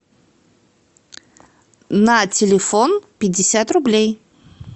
на телефон пятьдесят рублей